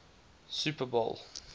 super bowl